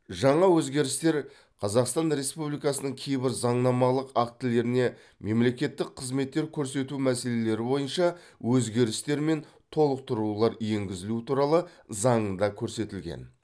жаңа өзгерістер қазақстан республикасының кейбір заңнамалық актілеріне мемлекеттік қызметтер көрсету мәселелері бойынша өзгерістер мен толықтырулар енгізілу туралы заңында көрсетілген